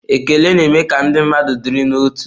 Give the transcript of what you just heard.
Ekele na-eme ka ndị mmadụ dịrị n'otu.